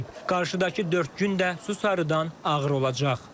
Qarşıdakı dörd gün də su sarıdan ağır olacaq.